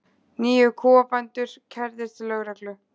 Níu kúabændur kærðir til lögreglu